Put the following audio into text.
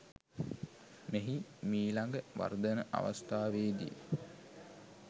මෙහි මීළඟ වර්ධන අවස්ථාවේ දී